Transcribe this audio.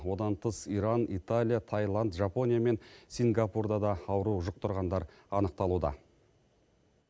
одан тыс иран италия таиланд жапония мен сингапурда да ауру жұқтырғандар анықталуда